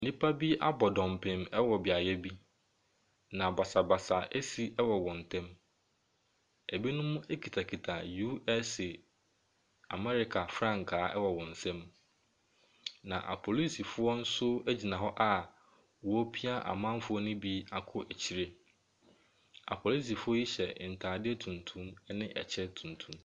Nipa bi abɔ dɔmpim ɛwɔ beaeɛ bi. Na basabasa ɛsi wɔ wɔntɛm. Ebinom ekitakita USA America frankaa ɛwɔ wɔn nsam. Na apolisifoɔ nso egyina hɔ a ɔrepia amanfoɔ no bi akɔ akyire. Apolisifoɔ yi hyɛ ntaade tuntum ɛne ɛkyɛ tuntum.